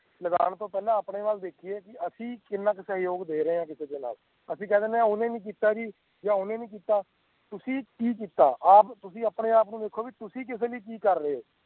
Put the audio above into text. ਲਗਾਂ ਤੋਂ ਪਹਿਲਾਂ ਆਪਣੇ ਵੱਲ ਦੇਕੀਏ ਅਸੀਂ ਕਿਨਾਂਕ ਸਜੋਯਗ ਦੇ ਰਹੀਏ ਕਿਸੇ ਦੇ ਨਾਲ ਅਸੀਂ ਕੇਇ ਦੀਨੇ ਉਨੇ ਨਹੀ ਕੀਤਾ ਜੀ ਯਾ ਓਹਨੇ ਨਹੀਂ ਕੀਤਾ ਤੁਸੀ ਕਿ ਕੀਤਾ ਤੁਸੀ ਆਪਣੇ ਆਪ ਨੂੰ ਵੇਕੋ ਤੁਸੀ ਕਿਸੇ ਲਈ ਕਿ ਕਾਰ ਰਹੀਏ ਹੋ